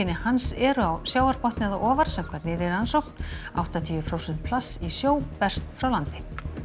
hans eru á sjávarbotni eða ofar samkvæmt nýrri rannsókn áttatíu prósent plasts í sjó berast frá landi